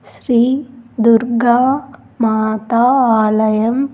శ్రీ దుర్గా మాత ఆలయం.